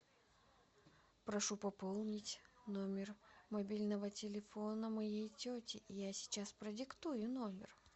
прошу пополнить номер мобильного телефона моей тети я сейчас продиктую номер